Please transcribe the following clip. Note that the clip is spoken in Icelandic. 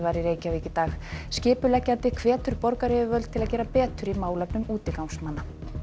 í Reykjavík í dag skipuleggjandi hvetur borgaryfirvöld til að gera betur í málefnum útigangsmanna